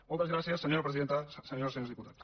moltes gràcies senyora presidenta senyores i senyors diputats